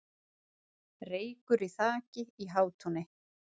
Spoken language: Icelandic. Reykur í þaki í Hátúni